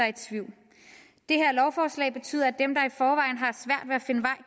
i tvivl det her lovforslag betyder at